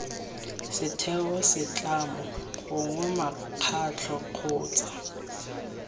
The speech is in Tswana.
setheo setlamo gongwe mokgatlho kgotsa